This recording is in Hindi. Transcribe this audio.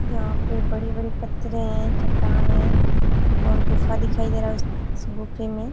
यहाँ पे बड़ी-बड़ी पथरे हैं। चट्टान है और गुफा दिखयी दे रहा है उस गुफे में --